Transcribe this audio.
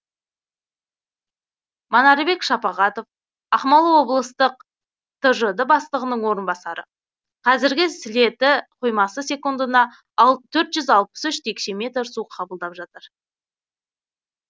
манарбек шапағатов ақмола облыстық тжд бастығының орынбасары қазір сілеті қоймасы секундына төртжүз алпыс үш текше метр су қабылдап жатыр